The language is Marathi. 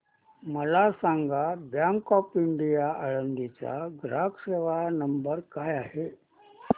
मला सांगा बँक ऑफ इंडिया आळंदी चा ग्राहक सेवा नंबर काय आहे